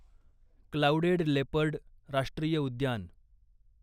clouded leopard राष्ट्रीय उद्यान